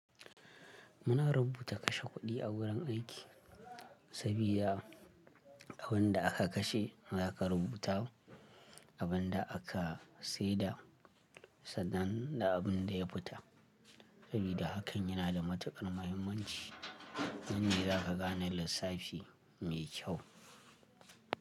Muna rubuta kashe kuɗi a wurin aiki, sabida abin da aka kashe za ka rubuta abin da aka seda, sannan da abin da ya fita. Sabida hakan yana da matuƙar muhimmanci, nan ne za ka gane lissafi mai kyau.